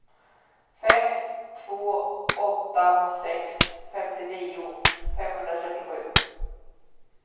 fem två åtta sex femtionio femhundratrettiosju